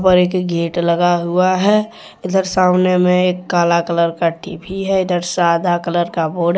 और एक गेट लगा हुआ है इधर सामने में एक काला कलर का टी_बी है इधर सादा कलर का बोर्ड है।